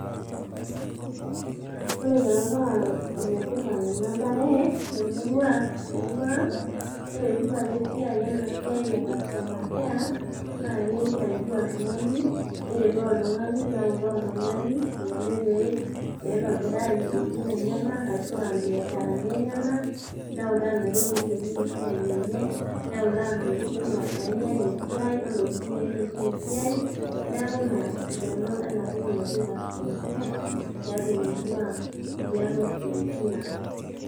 Ore taa paa ene tipat ena bae te murrua , te murrua ang , ore pitu alo ena siaie custoner care, naa keisadia oltungani ,neretoo oltungani , neutaa oltungani eneiko pee eitobiraa isiatin enyenak ashua imbiasharani enyenak , neuta eniko pee eiterunyie esiai enye ,neutaa ntokitin nainyial esiai , ontokitin nailepunyie esiai, niaku ina esidano ena toki naji customer care tiatua emurua ang ,tiatua isiatin ang.